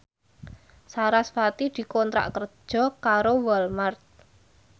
sarasvati dikontrak kerja karo Walmart